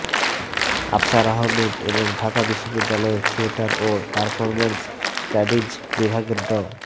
আফসার আহমেদ এবং ঢাকা বিশ্ববিদ্যালয়ের থিয়েটার ও পারফরম্যান্স স্টাডিজ বিভাগের ড